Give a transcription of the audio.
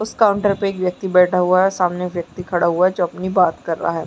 उस काउंटर पे एक व्यक्ति बैठा हुआ है सामने एक व्यक्ति खड़ा हुआ है जो अपनी बात कर रहा है।